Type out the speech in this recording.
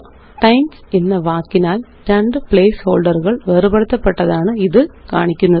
times എന്ന വാക്കിനാല് രണ്ട് പ്ലേസ്ഹോള്ഡറുകള് വേര്പെടുത്തപ്പെട്ടതാണ് ഇത് കാണിക്കുന്നത്